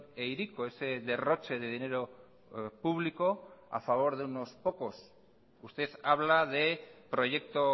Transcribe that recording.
e hiriko ese derroche de dinero público a favor de unos pocos usted habla de proyecto